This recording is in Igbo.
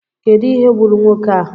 Kedụ ihe gburu nwoke a?